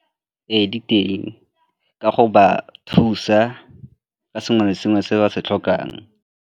Ee, di teng ka go ba thusa ka sengwe le sengwe se ba se tlhokang.